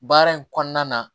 Baara in kɔnɔna na